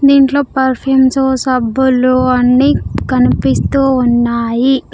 దీంట్లో పర్ఫ్యూమ్స్ సబ్బులు అన్నీ కనిపిస్తూ ఉన్నాయి.